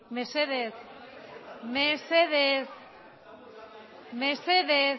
mesedez mesedez mesedez